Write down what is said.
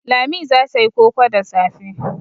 Lami za ta yi koko da safe.